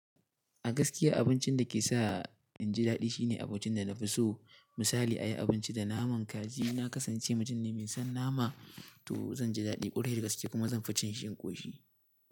A gaskiya abincin da ke sa in ji daɗi shine abincin da na fi so. Misali a yi abinci da naman kaji, na kasance mutum ne mai son nama, to zan ji daɗi ƙwarai da gaske kuma zan fi cin shi in koshi.